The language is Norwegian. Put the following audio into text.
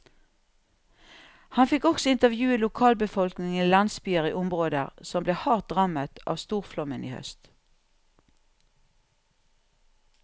Han fikk også intervjue lokalbefolkningen i landsbyer i områder som ble hardt rammet av storflommen i høst.